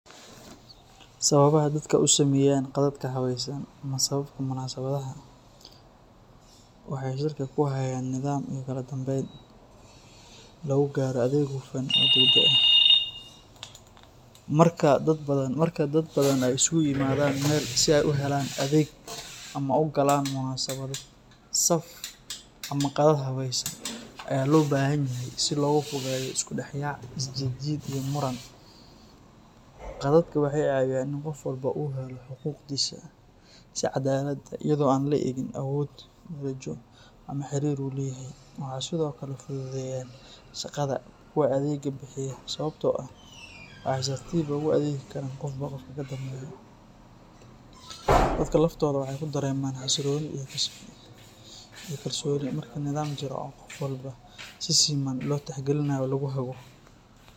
Sababaha dadka u sameeyaan qadadka habaysan ama safafka munaasabadaha waxay salka ku hayaan nidaam iyo kala dambeyn lagu gaaro adeeg hufan oo degdeg ah. Marka dad badan ay isugu yimaadaan meel si ay u helaan adeeg ama u galaan munaasabad, saf ama qadad habaysan ayaa loo baahan yahay si looga fogaado isku dhex yaac, is jiid jiid iyo muran. Qadadka waxay caawiyaan in qof walba uu helo xuquuqdiisa si caddaalad ah iyadoo aan la eegin awood, darajo ama xiriir uu leeyahay. Waxay sidoo kale fududeeyaan shaqada kuwa adeegga bixiya, sababtoo ah waxay si tartiib ah ugu adeegi karaan qofba qofka ka dambeeya. Dadka laftooda waxay ku dareemaan xasillooni iyo kalsooni marka nidaam jira oo qof walba si siman loo tixgelinayo lagu hago.